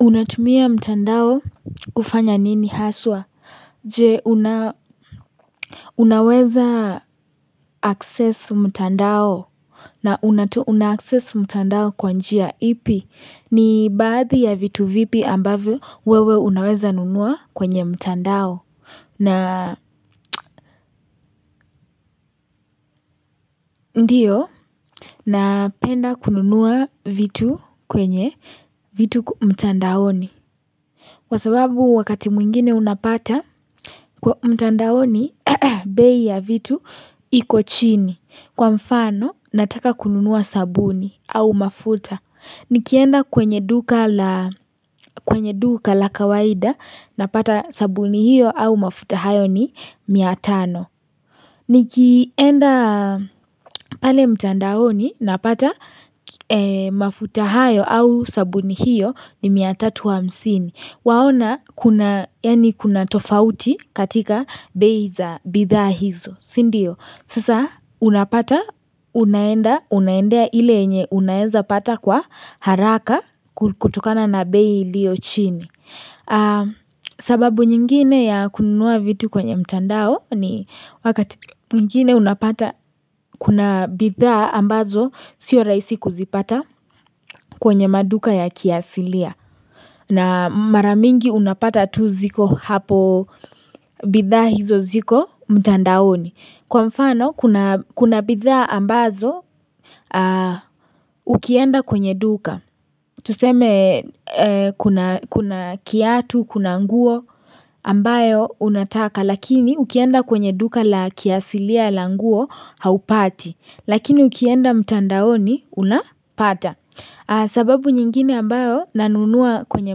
unatumia mtandao kufanya nini haswa? Je, unaweza akses mtandao na unatu unaaccess mtandao kwa njia ipi. Ni baadhi ya vitu vipi ambavyo wewe unaweza nunua kwenye mtandao. Na ndiyo, napenda kununuwa vitu kwenye vitu mtandaoni. Wasababu wakati mwingine unapata kwa mtandaoni bei ya vitu iko chini. Kwa mfano nataka kununua sabuni au mafuta. Nikienda kwenye duka la kawaida na pata sabuni hiyo au mafuta hayo ni miatano. Nikienda pale mtandaoni napata mafuta hayo au sabuni hiyo ni mia tatu hamsini. Waona kuna, yani kuna tofauti katika bei za bidhaa hizo. Sindiyo, sasa unapata, unaenda, unaendea ile nye unaeza pata kwa haraka kutokana na beiliyo chini. Sababu nyingine ya kununua vitu kwenye mtandao ni wakati nyingine unapata kuna bidhaa ambazo sio rahisi kuzipata kwenye maduka ya kiasilia na maramingi unapata tu ziko hapo bidhaa hizo ziko mtandaoni Kwa mfano kuna bidhaa ambazo ukienda kwenye duka Tuseme kuna kiatu kuna nguo ambayo unataka lakini ukienda kwenye duka la kiasilia la nguo haupati lakini ukienda mtandaoni unapata sababu nyingine ambayo nanunua kwenye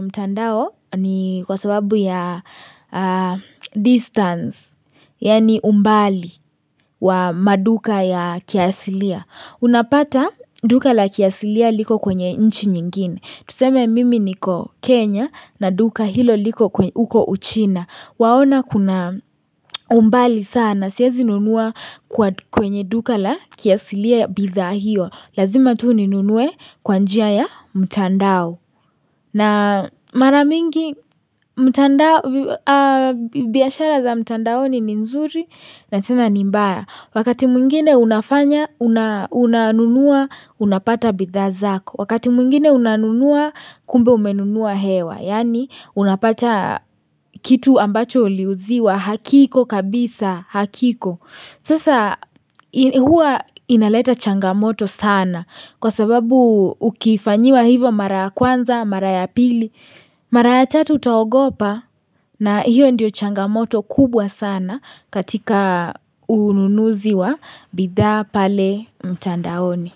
mtandao ni kwa sababu ya distance yani umbali wa maduka ya kiasilia. Unapata duka la kiasilia liko kwenye inchi nyingine Tuseme mimi niko Kenya na duka hilo liko uko uchina Waona kuna umbali sana Siazi nunua kwenye duka la kiasilia ya bidha hiyo Lazima tu ninunue kwanjia ya mtandao na maramingi biyashara za mtandao ni nzuri na tena nimbaya Wakati mwingine unanunua unapata bidhazako. Wakati mwingine unanunua kumbe umenunua hewa. Yani unapata kitu ambacho liuziwa hakiko kabisa hakiko. Sasa huwa inaleta changamoto sana kwa sababu ukifanyiwa hivo mara kwanza, mara ya pili, mara ya chatu utahogopa na hiyo ndiyo changamoto kubwa sana katika ununuziwa bidha pale mtandaoni.